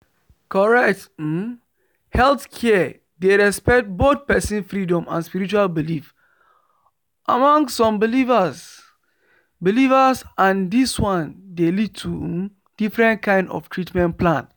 correct um healthcare dey respect both person freedom and spiritual belief among some believers believers and this one dey lead to um different kind 0f treatment plan